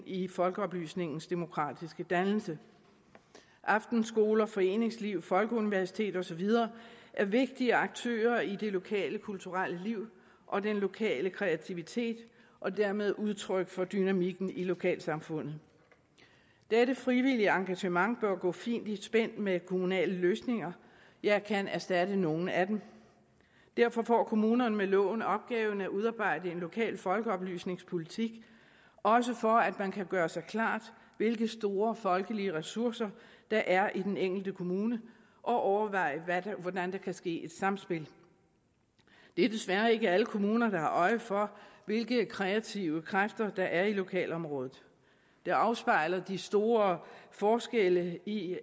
i folkeoplysningens demokratiske dannelse aftenskoler foreningsliv folkeuniversitet og så videre er vigtige aktører i det lokale kulturelle liv og den lokale kreativitet og dermed udtryk for dynamikken i lokalsamfundet dette frivillige engagement bør gå fint i spænd med kommunale løsninger ja kan erstatte nogle af dem derfor får kommunerne med loven opgaven at udarbejde en lokal folkeoplysningspolitik også for at man kan gøre sig klart hvilke store folkelige ressourcer der er i den enkelte kommune og overveje hvordan der kan ske et samspil det er desværre ikke alle kommuner der har øje for hvilke kreative kræfter der er i lokalområdet det afspejler de store forskelle i